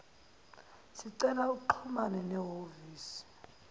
sicela uxhumane nehhovisi